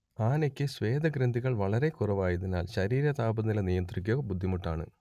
ആനയ്ക്ക് സ്വേദഗ്രന്ഥികൾ വളരെക്കുറവായതിനാൽ ശരീരതാപനില നിയന്ത്രിക്കുക ബുദ്ധിമുട്ടാണ്